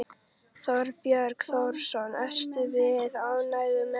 Þorbjörn Þórðarson: Eruð þið ánægð með þetta?